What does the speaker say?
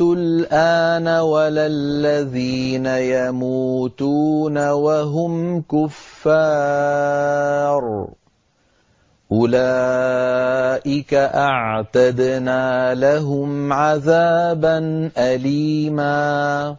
الْآنَ وَلَا الَّذِينَ يَمُوتُونَ وَهُمْ كُفَّارٌ ۚ أُولَٰئِكَ أَعْتَدْنَا لَهُمْ عَذَابًا أَلِيمًا